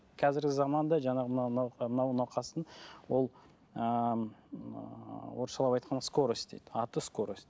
қазіргі заманда жаңағы мынау науқастың ол ыыы орысшалап айтқанда скорость дейді аты скорость